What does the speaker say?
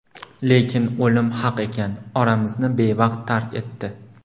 Lekin o‘lim haq ekan, oramizni bevaqt tark etdi.